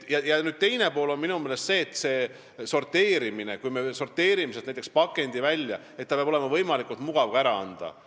Teine pool on minu meelest see, et kui me sorteerime näiteks pakendi prügi hulgast välja, siis peab olema võimalikult mugav seda ka ära anda.